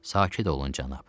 Sakit olun cənab.